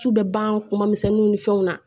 Su bɛ ban kuma misɛnninw ni fɛnw na